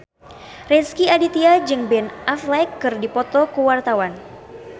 Rezky Aditya jeung Ben Affleck keur dipoto ku wartawan